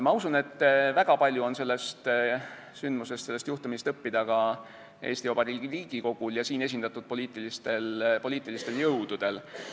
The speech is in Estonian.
Ma usun, et väga palju on sellest sündmusest, sellest juhtumist õppida ka Eesti Vabariigi Riigikogul ja siin esindatud poliitilistel jõududel.